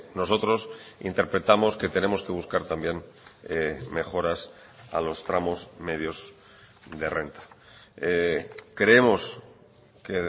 nosotros interpretamos que tenemos que buscar también mejoras a los tramos medios de renta creemos que